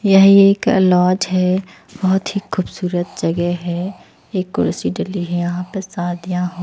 यह एक लाज है बहुत ही खूबसूरत जगह है एक कुर्सी डली है यहां पे साथ यहां--